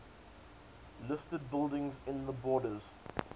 listed buildings in the borders